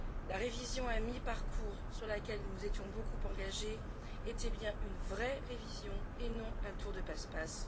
La révision à mi parcours sur laquelle nous nous étions beaucoup engagés était bien une vraie révision et non un tour de passe passe.